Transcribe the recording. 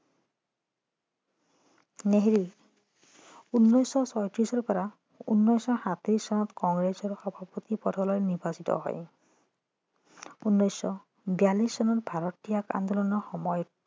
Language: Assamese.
নেহেৰু উনৈছশ ছয়ত্ৰিছৰ পৰা উনৈছশ সাতত্ৰিছ চনত কংগ্ৰেছৰ সভাপতি পদলৈ নিৰ্বাচিত হয় উনৈছশ বিৰাল্লিছ চনৰ ভাৰত ত্যাগ আন্দোলনৰ সময়ত